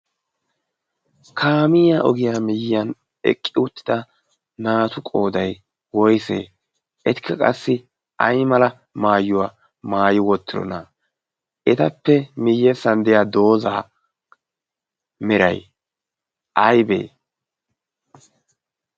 kamiiya ogiyaa miyyiyan eqqi uuttida naatu qoodai woisee etikka qassi ai mala maayuwaa maayi wottirona etappe miyyessan deya doozaa miray aybee?